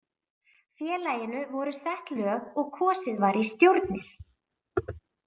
Félaginu voru sett lög og kosið var í stjórnir.